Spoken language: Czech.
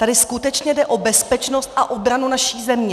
Tady skutečně jde o bezpečnost a obranu naší země!